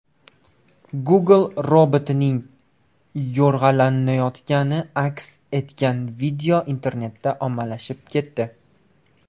Google robotining yo‘rg‘alayotgani aks etgan video internetda ommalashib ketdi .